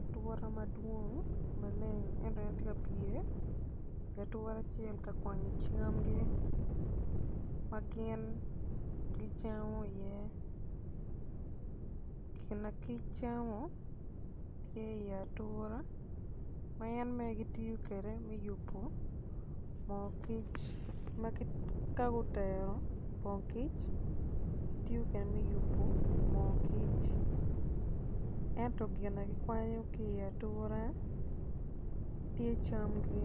atura madwong maleng ento en tye ka pye i wi atura acel ka kwanyo camgi ma gin gicamo iye gina kic camo tye i atura ma en bene tiyo kede me yubu moo kic ma ka gutero pong kic ki tiyu kede me yubu moo kic ento gina gikwanyo ki i iye atura ti camgi